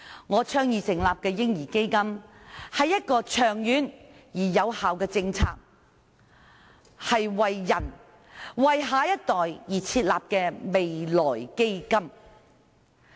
我倡議成立的"嬰兒基金"，是一項長遠而有效的政策，是為人、為下一代而設立的未來基金。